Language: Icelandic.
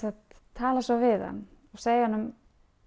tala svo við hann og segir honum